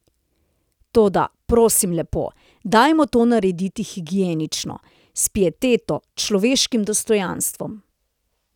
Toda, prosim lepo, dajmo to narediti higienično, s pieteto, človeškim dostojanstvom.